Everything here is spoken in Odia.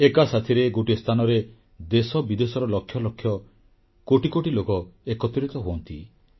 ଏକାସାଥିରେ ଗୋଟିଏ ସ୍ଥାନରେ ଦେଶବିଦେଶର ଲକ୍ଷ ଲକ୍ଷ କୋଟି କୋଟି ଲୋକ ଏକତ୍ରିତ ହୁଅନ୍ତି